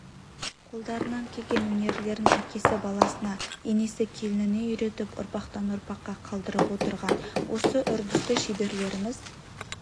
қолдарынан келген өнерлерін әкесі баласына енесі келініне үйретіп ұрпақтан ұрпаққа қалдырып отырған осы үрдісті шеберлеріміз